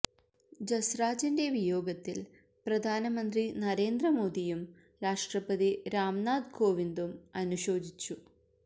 ജസ്രാജിന്റെ വിയോഗത്തില് പ്രധാനമന്ത്രി നരേന്ദ്ര മോദിയും രാഷ്ട്രപതി രാംനാഥ് കോവിന്ദും അനുശോചിച്ചു